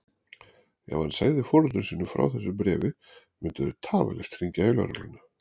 Ef hann segði foreldrum sínum frá þessu bréfi myndu þeir tafarlaust hringja í lögregluna.